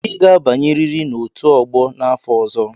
Ị ga-abanyerịrị na out ogbo n'afọ ọzọ!